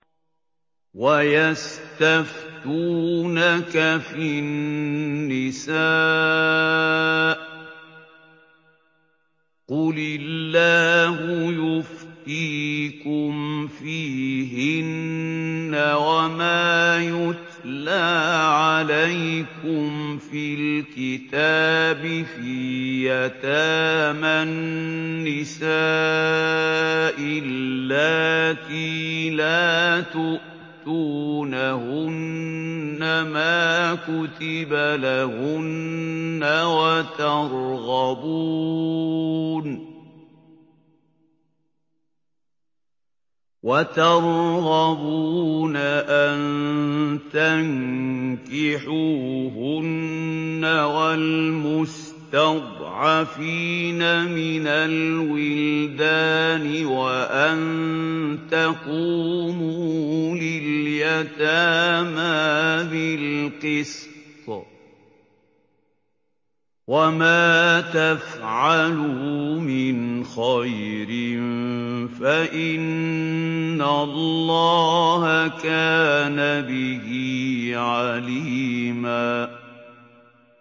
وَيَسْتَفْتُونَكَ فِي النِّسَاءِ ۖ قُلِ اللَّهُ يُفْتِيكُمْ فِيهِنَّ وَمَا يُتْلَىٰ عَلَيْكُمْ فِي الْكِتَابِ فِي يَتَامَى النِّسَاءِ اللَّاتِي لَا تُؤْتُونَهُنَّ مَا كُتِبَ لَهُنَّ وَتَرْغَبُونَ أَن تَنكِحُوهُنَّ وَالْمُسْتَضْعَفِينَ مِنَ الْوِلْدَانِ وَأَن تَقُومُوا لِلْيَتَامَىٰ بِالْقِسْطِ ۚ وَمَا تَفْعَلُوا مِنْ خَيْرٍ فَإِنَّ اللَّهَ كَانَ بِهِ عَلِيمًا